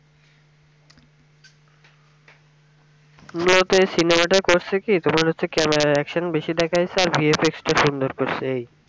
মুলত এই সিনেমা টা করসে কি তোমার হচ্ছে camera এর action বেশি দেখাইছে আর VFX টা সুন্দর করসে